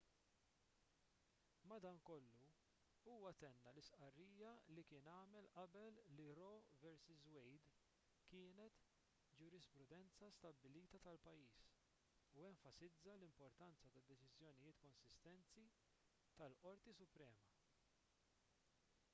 madankollu huwa tenna l-istqarrija li kien għamel qabel li roe vs wade kienet ġurisprudenza stabbilita tal-pajjiż u enfasizza l-importanza ta' deċiżjonijiet konsistenti tal-qorti suprema